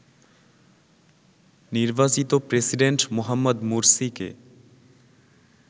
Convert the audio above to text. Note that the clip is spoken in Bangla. নির্বাচিত প্রেসিডেন্ট মোহাম্মদ মুরসিকে